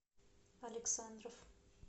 александров